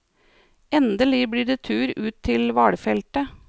Endelig blir det tur ut til hvalfeltet.